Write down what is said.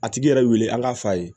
A tigi yɛrɛ weele an k'a f'a ye